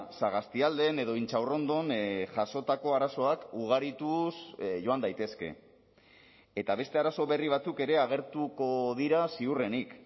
sagastialden edo intxaurrondon jasotako arazoak ugarituz joan daitezke eta beste arazo berri batzuk ere agertuko dira ziurrenik